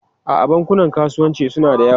A'a, bankunan kasuwanci suna da yawa.